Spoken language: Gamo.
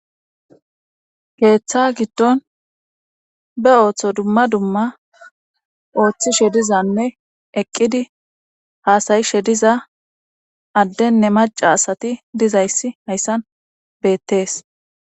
keeththa giddon be ooththo dumma dumma ooththishe dizanne eqqidi haasayishe diza addenne maca asati dizayssi hayssan beettees